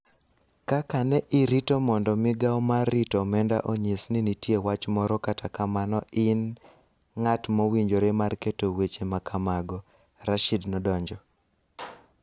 Kaka ne irito mondo migao mar rito Omenda onyis ni nitie wach moro kata kamano in ng�at mowinjore mar keto weche ma kamago, Rashid nodonjo.